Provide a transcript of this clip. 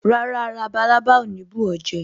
Rárá, labalábá ò ní bù ó jẹ